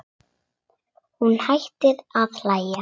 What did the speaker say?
Hún hættir að hlæja.